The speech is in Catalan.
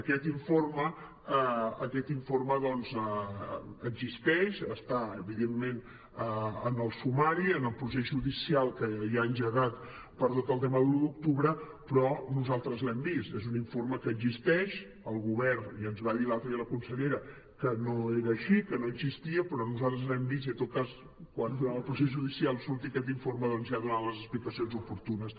aquest informe existeix està evidentment en el sumari en el procés judicial que hi ha engegat per tot el tema de l’un d’octubre però nosaltres l’hem vist és un informe que existeix el govern ja ens va dir l’altre dia la consellera que no era així que no existia però nosaltres l’hem vist i en tot cas quan durant el procés judicial surti aquest informe ja donaran les explicacions oportunes